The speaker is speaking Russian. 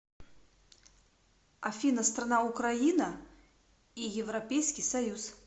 афина страна украина и европейский союз